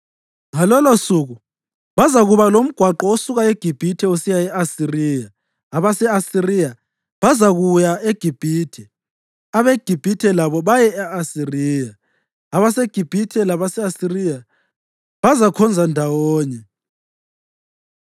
Ngalolosuku bazakuba lomgwaqo osuka eGibhithe usiya e-Asiriya. Abase-Asiriya bazakuya eGibhithe, abeGibhithe labo baye e-Asiriya. AbaseGibhithe labase-Asiriya bazakhonza ndawonye.